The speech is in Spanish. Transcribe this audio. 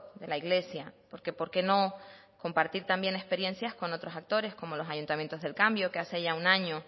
de la iglesia porque por qué no compartir también experiencias con otros actores como los ayuntamientos del cambio que hace ya un año